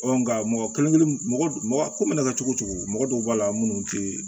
nka mɔgɔ kelen kelen mɔgɔ mɔgɔ ko mana kɛ cogo cogo mɔgɔ dɔw b'a la munnu te